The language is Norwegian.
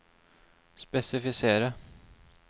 spesifisere